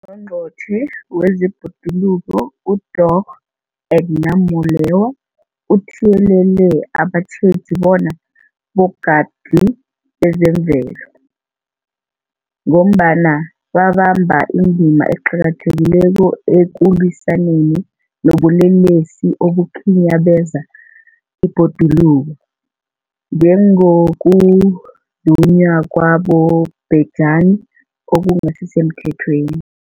UNgqongqotjhe wezeBhoduluko uDorh Edna Molewa uthiyelele abatjheji bona bogadi bezemvelo, ngombana babamba indima eqakathekileko ekulwisaneni nobulelesi obukhinyabeza ibhoduluko, njengokuzunywa kwabobhejani okungasisemthethweni.